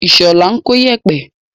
Ìṣọ̀lá ń kó iyẹ̀pẹ̀.